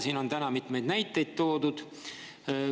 Siin on täna mitmeid näiteid toodud.